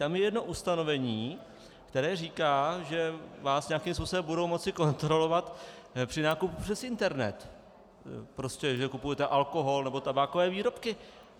Tam je jedno ustanovení, které říká, že vás nějakým způsobem budou moci kontrolovat při nákupu přes internet, prostě že kupujete alkohol nebo tabákové výrobky.